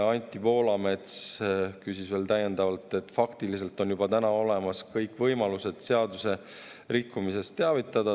Anti Poolamets küsis veel täiendavalt, et faktiliselt on juba olemas kõik võimalused seadusrikkumisest teavitada.